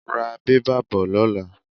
Ra bẹ́bà bo lóla.